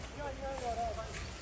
Can var, adam var.